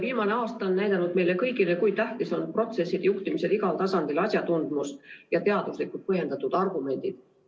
Viimane aasta on näidanud meile kõigile, kui tähtis on protsesside juhtimisel igal tasandil asjatundlikkus ja teaduslikult põhjendatud argumendid.